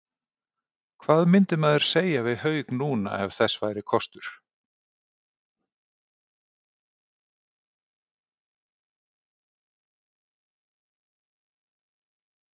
Hvað myndi maður segja við Hauk núna, ef þess væri kostur?